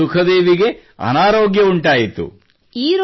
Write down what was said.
ಮತ್ತು ಸುಖದೇವಿಗೆ ಅನಾರೋಗ್ಯ ಉಂಟಾಯಿತು